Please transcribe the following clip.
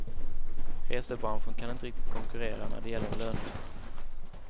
Resebranschen kan inte riktigt konkurrera när det gäller löner.